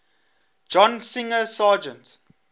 john singer sargent